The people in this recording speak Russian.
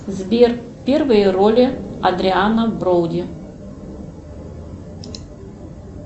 сбер первые роли адриано броуди